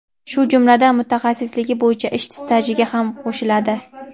shu jumladan mutaxassisligi bo‘yicha ish stajiga ham qo‘shiladi.